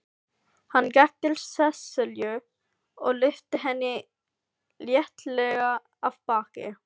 Hann gekk til Sesselju og lyfti henni léttilega af baki.